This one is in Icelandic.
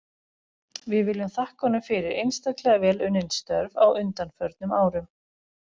Við viljum þakka honum fyrir einstaklega vel unnin störf á undanförnum árum.